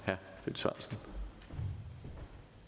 så